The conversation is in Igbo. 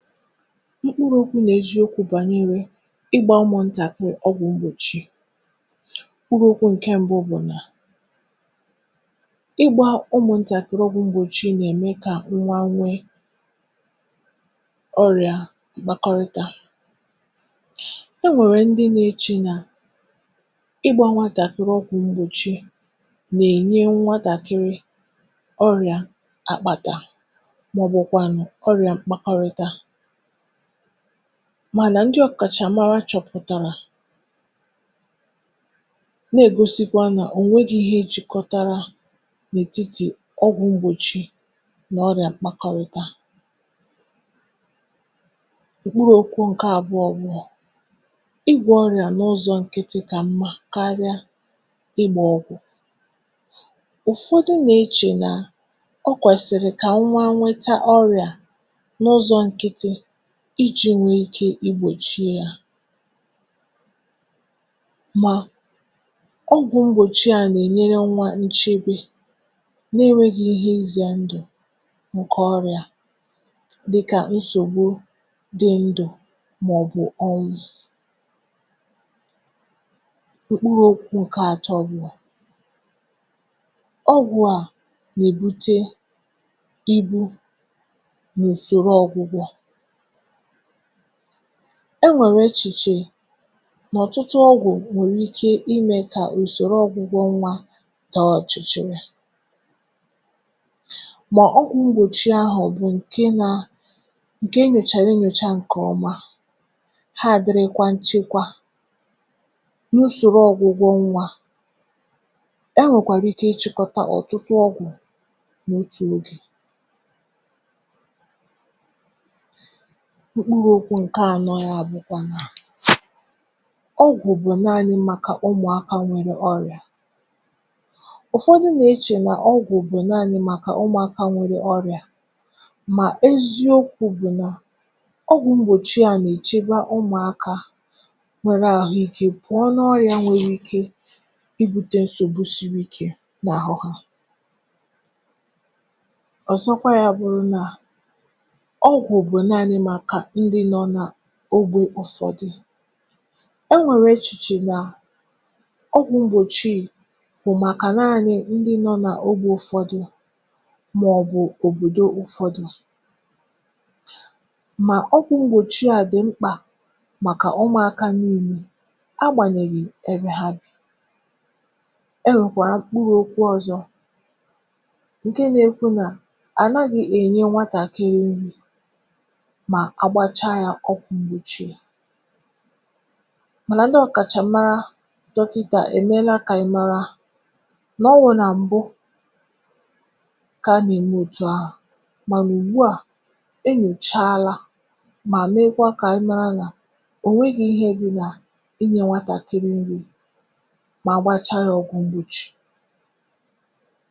Mkpụrụ̇ okwu nà-èziokwu̇ bànyere ịgbȧ ụmụ̀ntàkiri ọgwụ̀ mgbòchi. Mkpụrụ okwu̇ ǹke mbụ bụ̀ nà ịgbȧ ụmụ̀ntàkiri ọgwụ̀ mgbòchi nà-ème kà nwa nwe ọrịà m̀kpàkọrịta e nwèrè ndị nȧ-echi nà ịgbȧ nwatàkịrị ọgwụ̇ mgbòchi nà-ènyè nwatàkịrị ọrịà àkpàtà màọbụ̇ kwanụ̀ ọrịà mkpàkọrịta manà ndị ọkàchàmara chọ̀pụ̀tàrà na-egosikwa nà ònweghi ihe ejìkọtara n’ètitì ọgwụ̀ mgbòchi nà ọrịà mkpakọrịta. Mkpụrụ okwu nke abụọ bụ, igwo n'ụzọ nkịtị ka mma karịa ịgba ọgwụ, ụfọdụ na-eche na ọ kwesịrị ka nwa nweta ọrịa n'ụzọ nkịtị iji̇ nwèe ike igbòchi yȧ, mà ọgwụ̀ mgbòchi yȧ nà-ènyere nnwa nchegbè na-enwėghi̇ ihe izì à ndụ̀ ǹkè ọrị̀à dịkà nsògbu dị ndụ̀ màọ̀bụ̀ ọnwụ̇, mkpụrụ okwu̇ ǹkè atọ̇ bụ̀, ọgwụ̀ à nà-èbute ibu n’ùsòrò ọgwụ̀gwọ̀, enwèrè echìchè n’ọ̀tụtụ ọgwụ̀ nwèrè ike imė kà usòrò ọ̀gwụ̀gwọ nwȧ taa ọ̀chịchịrị, mà ọgwụ̀ m̀gbòchi ahụ̀ bụ̀ ǹke nȧ ǹke nyochàrà enyòchà ǹke ọma, ha adịrị kwȧ nchekwa n’usòrò ọ̀gwụ̀gwọ nwȧ, enwèkwàra ike ịchị̇kọta ọ̀tụtụ ọgwụ̀ nà otù ogè,. Mkpụrụ okwu ṅkè anọ̇ ya bụ̇kwà nà ọgwụ̀ bụ̀ naanị̇ mmaka ụmụ̀aka nwere ọrị̀à, ụ̀fọdụ nà-echè nà ọgwụ̀ bụ naanị̇ maka ụmụ̀aka nwere ọrị̀à mà eziokwu̇ bụ̀ nà ọgwụ̀ mgbòchi a nèchebe ụmụ̀aka nwere àhụike pụ̀ọ n’ọrị̇à nwere ike ibutė nsògbu siri ikė n’àhụ hà, ọzọkwa ya bụrụ na ọgwụ bụ naanị maka ndị nọ n'ogbè ụfọdụ, e nwèrè echìchè nà ọgwụ̇ mgbòchi bụ̀ màkà nȧnyị̇ ndị nọ nà ogbè ụfọdụ màọbụ̇ òbòdo ụfọdụ̇ mà ọgwụ̇ mgbòchi à dị̀ mkpà màkà ụmụ̇aka niile agbànyèghì ebe ha bi. E nwẹ̀kwàrà mkpuru okwu ọ̇zọ̇ ǹkẹ̀ nà ekwu nà ànaghị̇ ènye nwatàkịrị nri ma àgbacha yȧ ọgwụ̇ m̀gbochi mànà ndị ọ̀kàchàmara dọkịtà èmela kà ị̀ mara n’ọwụ̇ nà m̀bụ kà a nà ème òtù ahụ̀, mà nà ùgbu à enyochalȧ mà megwa kà ị mara nà ò nweghi̇ ihe dị nà inye nwatàkịrị nri mà agbachaa yȧ ọgwụ̇ m̀gbochi.